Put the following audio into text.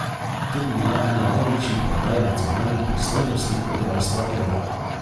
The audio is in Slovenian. To bi bila ena največjih predaj nacionalnih pristojnosti od rojstva evra.